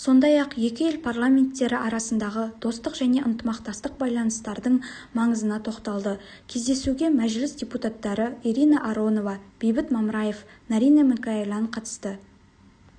сондай-ақ екі ел парламенттері арасындағы достық және ынтымақтастық байланыстардың маңызына тоқталды кездесуге мәжіліс депутаттары ирина аронова бейбіт мамраев наринэ микаэлян қатысты